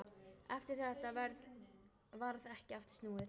Eftir þetta varð ekki aftur snúið.